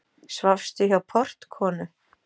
Svafstu hjá portkonu?